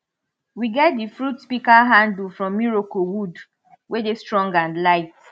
we get di fruit pika handle from iroko wood wey dey strong and light